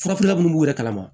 Furafeerela minnu b'u yɛrɛ kalama